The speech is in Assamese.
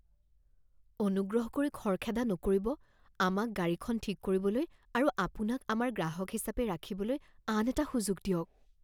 অনুগ্ৰহ কৰি খৰখেদা নকৰিব। আমাক গাড়ীখন ঠিক কৰিবলৈ আৰু আপোনাক আমাৰ গ্ৰাহক হিচাপে ৰাখিবলৈ আন এটা সুযোগ দিয়ক